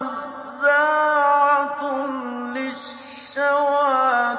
نَزَّاعَةً لِّلشَّوَىٰ